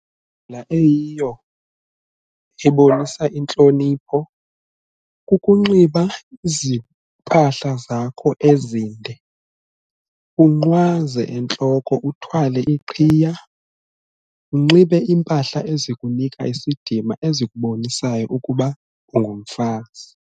Indlela eyiyo ebonisa intlonipho kukunxiba iziphahla zakho ezinde, unqwaze entloko uthwale iqhiya, unxibe impahla ezikunika isidima ezikubonisayo ukuba ungumfazi.